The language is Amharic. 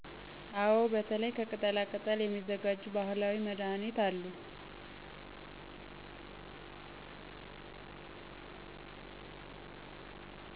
አወ በተለይ ከቅጠላ ቅጠል የሚዘጋጁ ባህላዊ መድሀኒት አሉ።